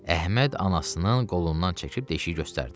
Əhməd anasının qolundan çəkib deşiyi göstərdi.